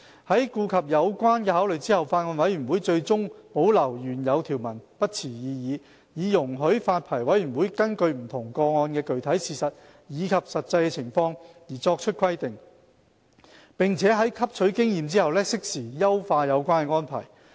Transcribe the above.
在顧及有關考慮後，法案委員會最終對保留原有條文不持異議，以容許發牌委員會根據不同個案的具體事實及實際情況作出規定，並在汲取經驗後適時優化有關安排。